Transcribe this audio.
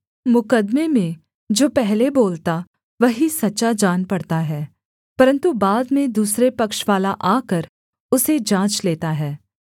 मुकद्दमे में जो पहले बोलता वही सच्चा जान पड़ता है परन्तु बाद में दूसरे पक्षवाला आकर उसे जाँच लेता है